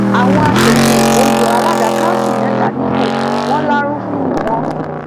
àwọn aṣòfin èkó yọ alága kanṣu mẹta nípò wọn lárúfin ni wọn